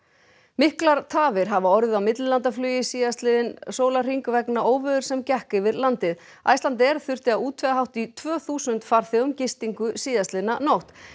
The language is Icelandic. miklar tafir hafa orðið á millilandaflugi síðastliðinn sólarhring vegna óveðurs sem gekk yfir landið Icelandair þurfti að útvega hátt í tvö þúsund farþegum gistingu síðastliðna nótt